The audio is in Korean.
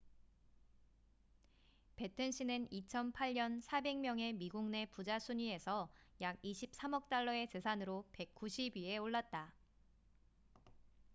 배튼씨는 2008년 400명의 미국 내 부자 순위에서 약 23억 달러의 재산으로 190위에 올랐다